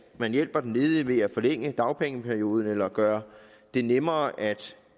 at man hjælper den ledige ved at forlænge dagpengeperioden eller gøre det nemmere at